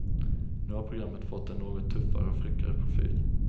Nu har programmet fått en något tuffare och fräckare profil.